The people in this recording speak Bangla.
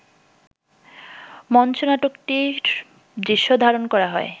মঞ্চনাটকটির দৃশ্য ধারণ করা হয়